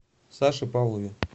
саше павлове